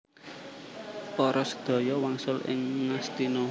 Para sadaya wangsul ing Ngastina